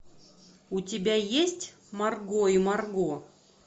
у тебя есть марго и марго